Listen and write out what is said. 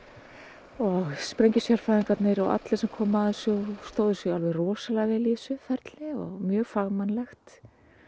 og allir sem komu að þessu stóðu sig alveg rosalega vel í þessu ferli og mjög fagmannlegt